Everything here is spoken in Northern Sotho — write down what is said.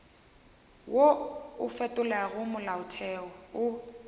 wo o fetolago molaotheo o